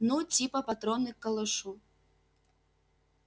ну типа патроны к калашу